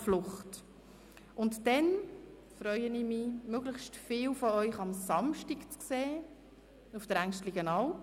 Ich freue mich, möglichst viele von Ihnen am Samstag auf der Englistenalp zu treffen.